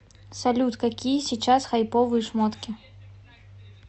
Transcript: салют какие сейчас хайповые шмотки